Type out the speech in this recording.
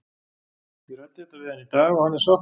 Ég ræddi þetta við hann í dag og hann er sáttur.